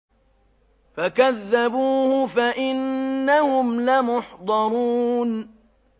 فَكَذَّبُوهُ فَإِنَّهُمْ لَمُحْضَرُونَ